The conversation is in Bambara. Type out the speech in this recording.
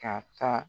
Ka taa